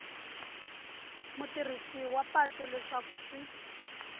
mutirhisi wa patu leswaku swi